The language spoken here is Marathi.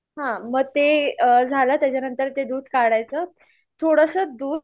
हा म ते झालं त्याच्यानंतर ते दूध काढायचं थोडंसं दूध